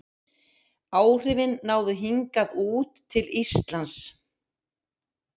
Áhrifin náðu hingað út til Íslands.